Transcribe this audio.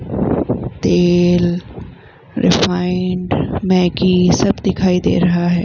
तेल refined Maggi सब दिखाई दे रहा है।